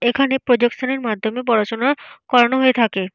এখানে প্রজেকশন এর মাধ্যমে পড়াশোনা করানো হয়ে থাকে।